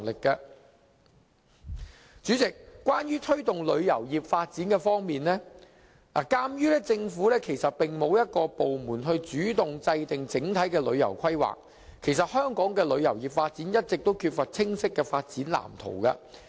代理主席，關於推動旅遊業發展方面，鑒於政府沒有一個部門主動制訂整體旅遊規劃，香港的旅遊業發展一直缺乏清晰的發展籃圖。